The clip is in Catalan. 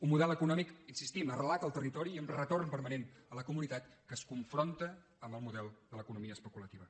un model econòmic hi insistim arrelat al territori i amb retorn permanent a la comunitat que es confronta amb el model de l’economia especulativa